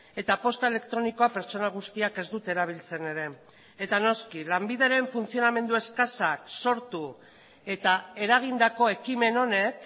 eta posta elektronikoa pertsona guztiak ez dute erabiltzen ere eta noski lanbideren funtzionamendu eskasak sortu eta eragindako ekimen honek